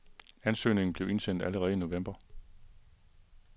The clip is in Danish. Ansøgningen blev indsendt allerede i november.